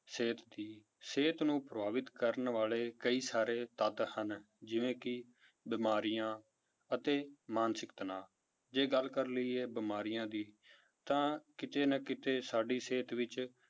ਸਿਹਤ ਦੀ ਸਿਹਤ ਨੂੰ ਪ੍ਰਭਾਵਿਤ ਕਰਨ ਵਾਲੇ ਕਈ ਸਾਰੇ ਤੱਤ ਹਨ ਜਿਵੇਂ ਕਿ ਬਿਮਾਰੀਆਂ ਅਤੇ ਮਾਨਸਿਕ ਤਨਾਅ ਜੇ ਗੱਲ ਕਰ ਲਈਏ ਬਿਮਾਰੀਆਂ ਦੀ ਤਾਂ ਕਿਤੇ ਨਾ ਕਿਤੇ ਸਾਡੀ ਸਿਹਤ ਵਿੱਚ